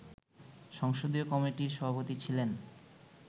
সংসদীয় কমিটির সভাপতি ছিলেন